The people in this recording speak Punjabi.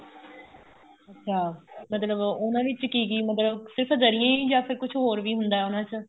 ਅੱਛਾ ਮਤਲਬ ਉਹਨਾ ਵਿੱਚ ਕੀ ਕੀ ਮਤਲਬ ਸਿਰਫ ਦਰੀਆਂ ਹੀ ਜਾਂ ਕੁੱਝ ਹੋਰ ਵੀ ਹੁੰਦਾ ਉਹਨਾ ਚ